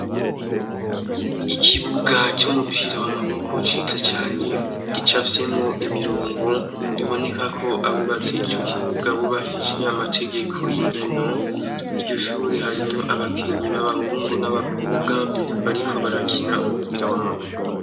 Ikibuga c'umupira w'amaboko ciza cane. Gicafyemwo imirongo, biboneka ko abubatse ico kibuga bubahirije amategeko y'inkino. Iryo shure harimwo abakinyi b'abahungu n'abakobwa bariko barakina umupira w'amaboko.